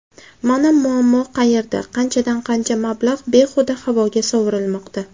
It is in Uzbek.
Mana muammo qayerda qanchadan-qancha mablag‘ behuda havoga sovurilmoqda.